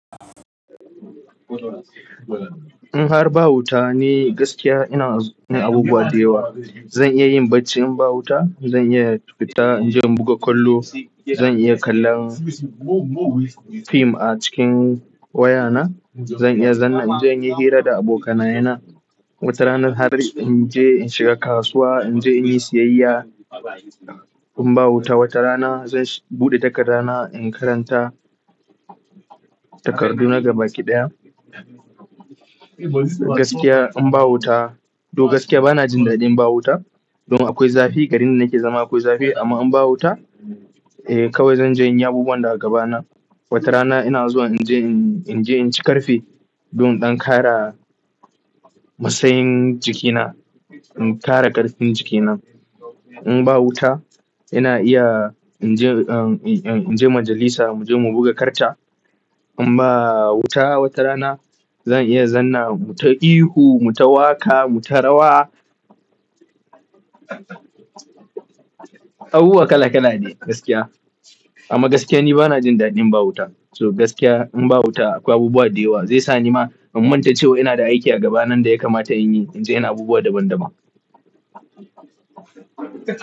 In har ba wuta ne gaskiya ina yin abubuwa da yawa. Zan iya yin bacci in ba wuta, zan iya in fita in je in buga kwallo, zan iya kallon fim a cikin wayana. Zan iya zanna in je in yi hira da abokanayena. Wata rana har in je in shiga kasuwa in je in yi siyayya. In ba wuta wata rana zan buɗe takarda na in karanta takardu na gabaki ɗaya. Gaskiya in ba wuta, to gaskiya bana jin daɗin ba wuta. Don akwai zafi, garin da nake zama akwai zafi amma in ba wuta, eh kawai zan je in yi abubuwan da a gabana. Wata rana ina zuwa in je in, in je in ci ƙarfe don in ƙara matsayin jikina, in ƙara ƙarfin jikina. In ba wuta ina iya in je, in je majalisa mu je mu buga karta. In ba wuta wata rana zan iya zanna mu ta ihu, mu ta waƙa, mu ta rawa. Abu wa kala kala ne gaskiya. Amma gaskiya ni bana jin daɗin ba wuta. So gaskiya in ba wuta akwai abubuwa da yawa zai sa ni ma in manta cewa ina da aiki a gaba nan da ya kamata in yi in je ina abubuwa daban-daban.